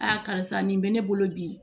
karisa nin bɛ ne bolo bi